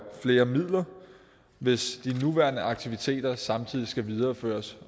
flere midler hvis de nuværende aktiviteter samtidig skal videreføres